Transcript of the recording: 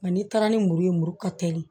Nka n'i taara ni muru ye muru ka teli